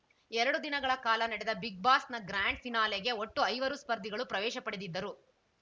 ಎರಡು ದಿನಗಳ ಕಾಲ ನಡೆದ ಬಿಗ್‌ ಬಾಸ್‌ನ ಗ್ರ್ಯಾಂಡ್‌ ಫಿನಾಲೆಗೆ ಒಟ್ಟು ಐವರು ಸ್ಪರ್ಧಿಗಳು ಪ್ರವೇಶ ಪಡೆದಿದ್ದರು